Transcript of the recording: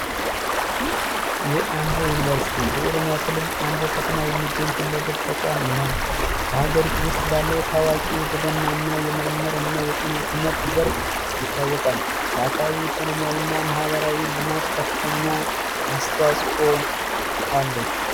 የአምቦ ዩኒቨርስቲ በኦሮሚያ ክልል አምቦ ከተማ የሚገኝ ሁለገብ የትምህርት ተቋም ነው። በሀገሪቱ ውስጥ ባለው ታዋቂ የግብርና እና የምርምር የጤና ዘርፍ ይታወቃል ለአካባቢውም ኢኮኖሚያዊ እና ማህበራዊ ልማት ከፍተኛ አስተዋጽኦ አለው።